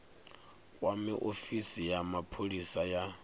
kwame ofisi ya mapholisa ya